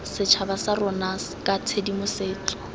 setšhaba sa rona ka tshedimosetso